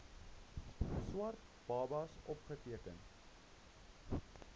swart babas opgeteken